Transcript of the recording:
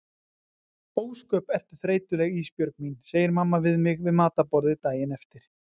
Ósköp ertu þreytuleg Ísbjörg mín, segir mamma við mig við matarborðið daginn eftir.